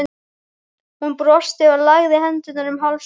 Hún brosti og lagði hendurnar um háls honum.